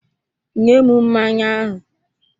Nye m mmanya ahụ!